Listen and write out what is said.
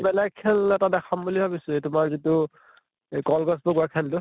ভেলেগ খেল এটা দেখাম বুলি ভাবিছো এই তোমাৰ যিটো এই কল গছ বগোৱা খেলটো